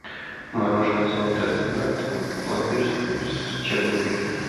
мороженое золотой стандарт пломбир с черникой